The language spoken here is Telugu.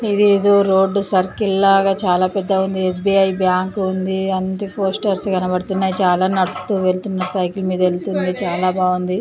ఇది ఏదో రోడ్డు సర్కిల్ లాగా చాలా పెద్ద ఎ. స్బి. ఐ బ్యాంక్ ఉంది. అండ్ పోస్టర్స్ కనపడుతున్నాయి. చాలా నడుస్తూ వెళుతున్న సైకిల్ మీద వెళుతుంది చాలా బాగుంది.